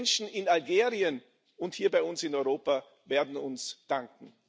Die Menschen in Algerien und hier bei uns in Europa werden es uns danken.